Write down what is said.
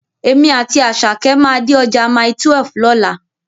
Èmi àti Àṣàkẹ́ máa dé ọjà Mile12 lọ́la.